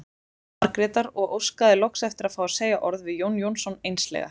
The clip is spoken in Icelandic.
Margrétar og óskaði loks eftir að fá að segja orð við Jón Jónsson einslega.